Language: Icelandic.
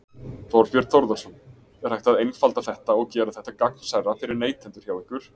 Þorbjörn Þórðarson: Er hægt að einfalda þetta og gera þetta gagnsærra fyrir neytendur hjá ykkur?